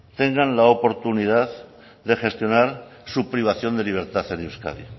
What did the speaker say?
tengan la oportunidad de gestionar su privación de libertad en euskadi